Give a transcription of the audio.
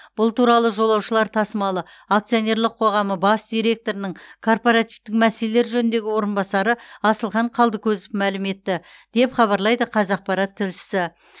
бұл туралы жолаушылар тасымалы акционерлік қоғамы бас директорының корпоративтің мәселелер жөніндегі орынбасары асылхан қалдыкозов мәлім етті деп хабарлайды қазақпарат тілшісі